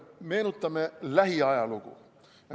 Meenutame lähiajalugu.